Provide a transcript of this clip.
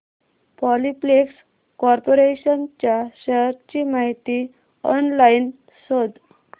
Polyplex corporation च्या shares ची माहिती ऑनलाइन शोध